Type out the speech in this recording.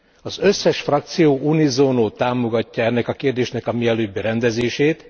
Az összes frakció unisono támogatja ennek a kérdésnek a mielőbbi rendezését.